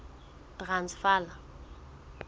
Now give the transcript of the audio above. transvala